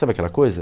Sabe aquela coisa?